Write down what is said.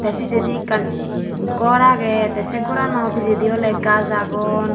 tey pijedi ekkan gor agey tey sei gorano pijedi oley gaj agon.